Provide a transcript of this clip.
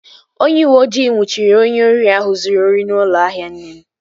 Onye uweojii nnwuchiri onye ori ahụ zụrụ ori n'ụlọ ahịa nne m